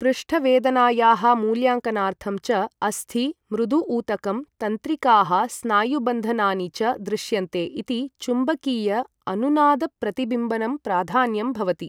पृष्ठवेदनायाः मूल्याङ्कनार्थं च अस्थि, मृदु ऊतकं, तंत्रिकाः, स्नायुबन्धनानि च दृश्यन्ते इति चुम्बकीय अनुनाद प्रतिबिम्बनं प्राधान्यं भवति ।